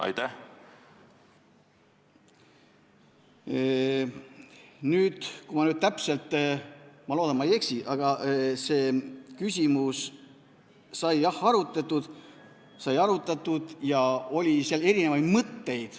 Ma loodan, et ma ei eksi, aga kui ma õigesti mäletan, siis seda küsimust sai arutatud ja seal oli erinevaid mõtteid.